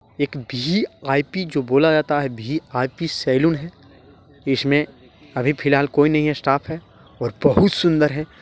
एक VIP जो बोला जाता है भीआईपी सलून है इसमें अभी फ़िलहाल कोई नही है स्टाफ है और बहुत सुन्दर है